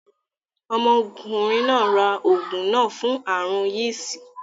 Ọmọkùnrin náà ra oògùn náà fún aàrùn yìsì